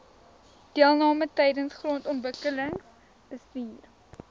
deelname tydens grondontwikkelingsbestuur